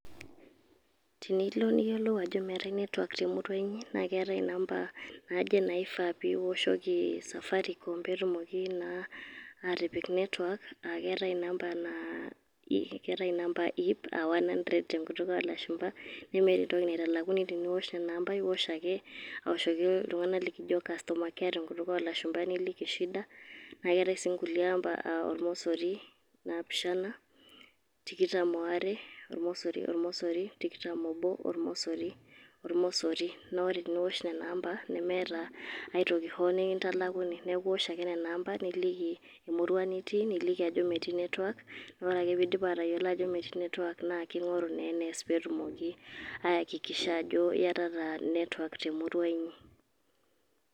Tenilo niyiolou ajo meetae netwak temurua inyi, na ketae inamba naaje naifaa piwoshoki safaricom, petumoki naa atipik netwak. Akeetae inamba naa a one hundred tenkutuk olashumpa, nemeta entoki naitalakuni teniwosh nena amba. Iwosh ake awoshoki iltung'anak likijo customer care tenkutuk olashumpa. Nliki shida. Na keetae si nkulie amba ormosori napishana tikitam aare ormosori ormosori tikitam obo ormosori ormosori. Na ore teniwosh nena amba, nemeeta aitoki ho nikintalakuni. Neeku iwosh ake nena amba, niliki emurua nitii, niliki ajo metii netwak. Ore ake piidip atayiolo ajo metii netwak, naa king'oru naa enees petumoki aakikisha ajo, iatata netwak temurua inyi.